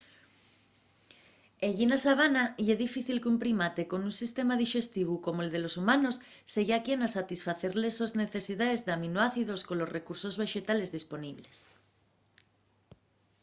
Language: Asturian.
ellí na sabana ye difícil qu'un primate con un sistema dixestivu como’l de los humanos seya quien a satisfacer les sos necesidaes d’aminoácidos colos recursos vexetales disponibles